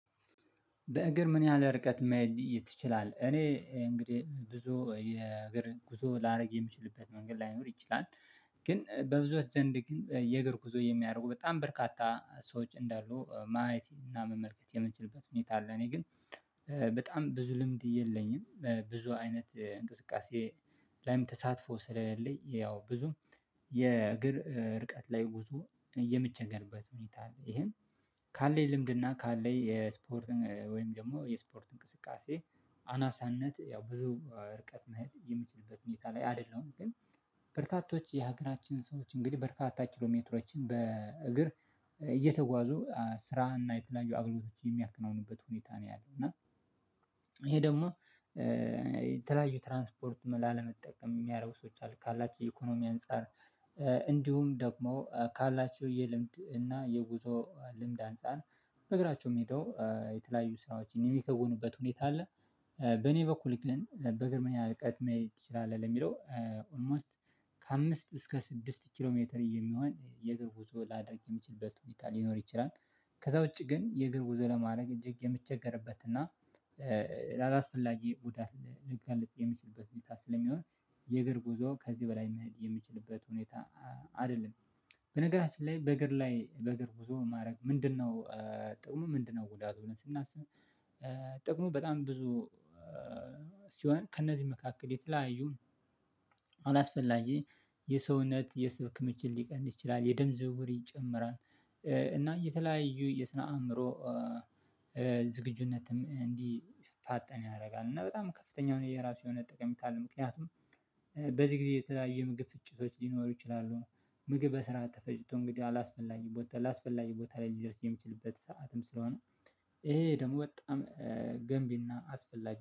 በእግር ምን ያህል ርቀት መሄድ ትችላለህ? እኔ እንግዲህ ብዙ የእግር ጉዞ ላደርግ የምችልበት መንገድ ላይኖር ይችላል ግን በብዙዎች ዘንድ ግን የእግር ጉዞ የሚያደርጉ በጣም በርካታ ሰዎች እንዳሉ ማየት እና መመልከት የምንችልበት ሁኔታ አለ እኔ ግን በጣም ብዙ ልምድ የለኝም ብዙ አይነት እንቅስቃሴ ላይም ተሳትፎ ስለሌለኝ ያው ብዙም የእግር ርቀት ላይ ጉዞ የምቸገርበት ሁኔታ አለ ይህም ካለኝ ልምድና ካለኝ የስፖርት ወይም ደግሞ የስፖርት እንቅስቃሴ አናሳነት ያው ብዙ ርቀት መሄድ የምችልበት ሁኔታ ላይ አይደለሁም ግን በርካቶች የሀገራችን ሰዎች እንግዲህ በርካታ ኪሎሜትሮችን በእግር እየተጓዙ ስራና የተለያዩ አገልግሎቶችን የሚያከናውኑበት ሁኔታ ነው ያለው እና ይሄ ደግሞ የተለያዩ ትራንስፖርት ላለመጠቀም የሚያደርጉ ሰዎች አሉ ካላችሁ የኢኮኖሚ አንፃር እንዲሁም ደግሞ ካላቸው የልምድ እና የጉዞ ልምድ አንፃር በእግራቸው የምሄደው የተለያዩ ስራዎችን የሚከውኑበት ሁኔታ አለ በኔ በኩል ግን በእግር ምን ያህል ርቀት መሄድ ትችላለህ? ለሚለው ኦልሞስት ከአምስት እስከ ስድስት ኪሎ ሜትር የሚሆን የእግር ጉዞ ላደርግ የምችልበት ሁኔታ ሊኖር ይችላል ከዛ ውጪ ግን የእግር ጉዞ ለማድረግ እጅግ የምቸገርበት እና ላላስፈላጊ ጉዳት ልጋለጥ የምችልበት ሁኔታ ስለሚሆን የእግር ጉዞ ከዚህ በላይ መሄድ የምችልበት ሁኔታ አይደለም በነገራችን ላይ በእግር ላይ በእግር ጉዞ ማድረግ ምንድነው ጥቅሙ ምንድነው ጉዳቱስ ብለን ስናስብ ጥቅሙ በጣም ብዙ ሲሆን ከእነዚህ መካከል የተለያዩ አላስፈላጊ የሰውነት የስብ ክምችት ሊቀንስ ይችላል የደም ዝውውር ይጨምራል እና የተለያዩ የስነ አእምሮ ዝግጁነትም እንዲፋጠን ያደርጋል እና በጣም ከፍተኛ የራሱ የሆነ ጠቀሜታ ምክንያቱም በዚህ ጊዜ የተለያየ ምግብ ፍጭቶች ሊኖሩ ይችላሉ ነው ምግብ በስርዓቱ ተፈጭቶ እንግዲህ አላስፈላጊ ቦታ አላስፈላጊ ቦታ ላይ ሊደርስ የሚችልበት ሰዓትም ስለሆነ ይሄ ደግሞ በጣም ገንቢና አስፈላጊ